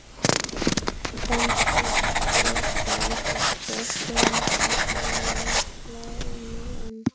Benedikt þaut niður tröppurnar á almenningssalerninu en